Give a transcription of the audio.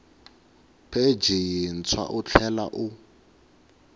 pheji yintshwa u tlhela u